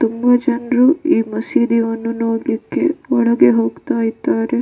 ತುಂಬಾ ಜನ್ರು ಈ ಮಸೀದಿವನ್ನು ನೋಡ್ಲಿಕ್ಕೆ ಒಳಗೆ ಹೋಗ್ತಾ ಇದಾರೆ .